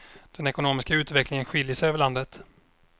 Den ekonomiska utvecklingen skiljer sig över landet.